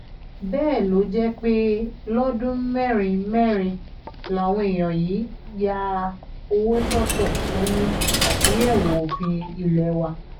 bẹ́ẹ̀ ló jẹ́ pé lọ́dún mẹ́rin mẹ́rin làwọn èèyàn yìí ń ya owó sọ́tọ̀ fún àtúnyẹ̀wò òfin ilé wa